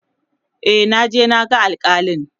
e naje na ga alkalin